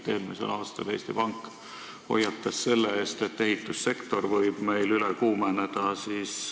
Eelmisel aastal Eesti Pank hoiatas selle eest, et ehitussektor võib meil üle kuumeneda.